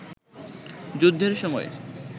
যুদ্ধের সময়